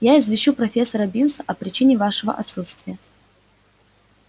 я извещу профессора бинса о причине вашего отсутствия